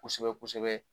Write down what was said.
Kosɛbɛ kosɛbɛ